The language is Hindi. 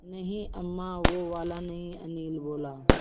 नहीं अम्मा वो वाला नहीं अनिल बोला